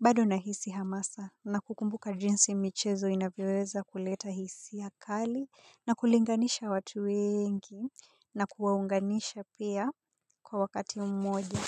bado nahisi hamasa na kukumbuka jinsi michezo inavyoweza kuleta hisia kali. Na kulinganisha watu wengi na kuwaunganisha pia kwa wakati umoja.